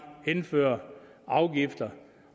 indfører afgifter